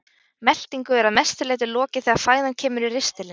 Meltingu er að mestu leyti lokið þegar fæðan kemur í ristilinn.